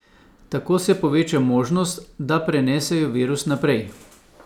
Tako se poveča možnost, da prenesejo virus naprej.